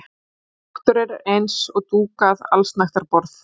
Náttúran eins og dúkað allsnægtaborð.